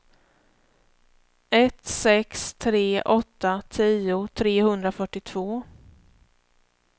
ett sex tre åtta tio trehundrafyrtiotvå